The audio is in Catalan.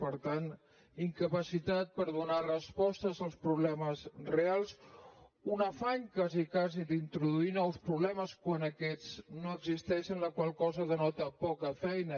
per tant incapacitat per donar respostes als problemes reals un afany quasi quasi d’introduir nous problemes quan aquests no existeixen la qual cosa denota poca feina